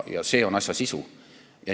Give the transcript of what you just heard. Ja see on asja sisu!